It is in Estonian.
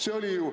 See oli ju.